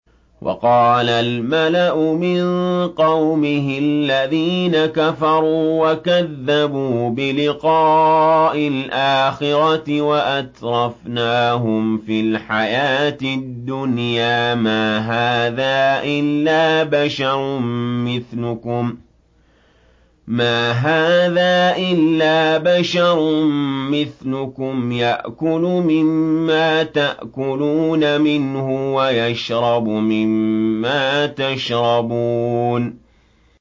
وَقَالَ الْمَلَأُ مِن قَوْمِهِ الَّذِينَ كَفَرُوا وَكَذَّبُوا بِلِقَاءِ الْآخِرَةِ وَأَتْرَفْنَاهُمْ فِي الْحَيَاةِ الدُّنْيَا مَا هَٰذَا إِلَّا بَشَرٌ مِّثْلُكُمْ يَأْكُلُ مِمَّا تَأْكُلُونَ مِنْهُ وَيَشْرَبُ مِمَّا تَشْرَبُونَ